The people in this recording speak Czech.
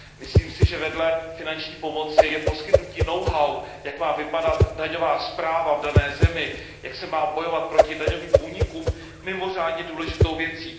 Myslím si, že vedle finanční pomoci je poskytnutí know how jak má vypadat daňová správa v dané zemi, jak se má bojovat proti daňovým únikům mimořádně důležitou věcí.